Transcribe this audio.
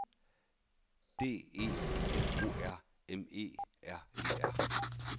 D E F O R M E R E R